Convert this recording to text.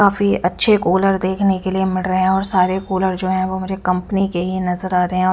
काफी अच्छे कुलर देखने के लिए मिल रहे हैं और सारे कूलर जो है वो मुझे कंपनी के ही नजर आ रहे अ--